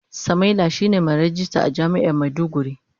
Samaila shine mai ragista a jami'ar maiduguri.